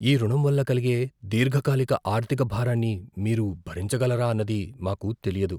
ఈ రుణం వల్ల కలిగే దీర్ఘకాలిక ఆర్థిక భారాన్ని మీరు భరించగలరా అన్నది మాకు తెలియదు.